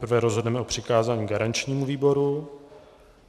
Nejprve rozhodneme o přikázání garančnímu výboru.